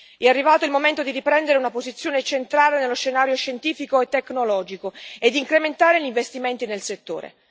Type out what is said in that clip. È arrivato il momento di riprendere una posizione centrale nello scenario scientifico e tecnologico e di incrementare gli investimenti nel settore.